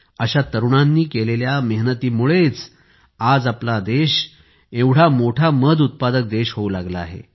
अशा तरुणांनी केलेल्या मेहनतीमुळेच आज आपला देश एवढा मोठा मध उत्पादक देश होऊ लागला आहे